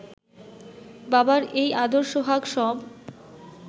বাবার এই আদর সোহাগ সব